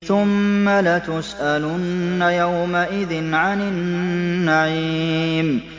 ثُمَّ لَتُسْأَلُنَّ يَوْمَئِذٍ عَنِ النَّعِيمِ